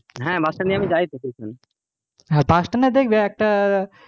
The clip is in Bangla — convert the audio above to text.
হ্যাঁ bus stand দিয়ে আমি যাই তো,